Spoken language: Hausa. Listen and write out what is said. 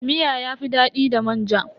Miya yafi dadi da manja.